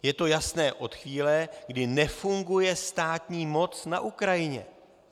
Je to jasné od chvíle, kdy nefunguje státní moc na Ukrajině.